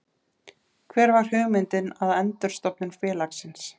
Hver var hugmyndin að endurstofnun félagsins?